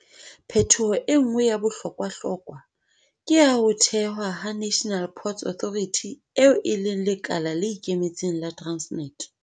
Phetoho e nngwe ya bohlokwahlokwa ke ya ho thewa ha National Ports Authority, eo e leng lekala le ikemetseng la Transnet.